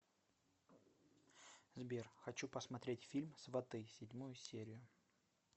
сбер хочу посмотреть фильм сваты седьмую серию